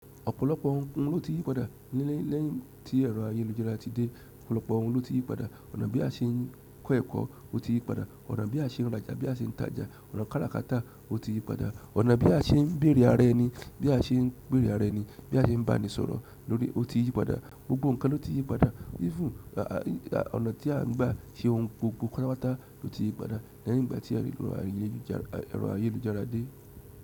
Ọ̀pọ̀lọpọ̀ ohun ló ti yí padà lẹ́yìn tí ẹ̀rọ ayélujára ti dé, ọ̀pọ̀lọpọ̀ ohun ló ti yí padà. Ọ̀nà bí a ṣe ń kọ́ ẹ̀kọ́, ó ti yí padà, ọ̀nà bí a ṣe ń rajà, bí a ṣe ń tajà, ọ̀nà káràkátà, ó ti yí padà. Ọ̀nà bí a ṣe ń bèrè ara ẹni, bí a ṣe ń bèrè ara ẹni, bí a ṣe ń bá ni sọ̀rọ̀ torí, ó ti yí padà. Gbogbo nǹkan ló ti yí padà. Even, ọ̀nà tí à ń gbà ṣe ohun gbogbo pátápátá ló ti yí padà lẹ́yìn ìgbà tí ẹ̀rọ ayélujára dé.